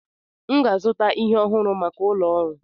M ga-azụta ihe ọhụrụ maka ụlọ ọrụ.